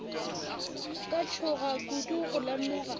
ka tšhoga kudu go lemoga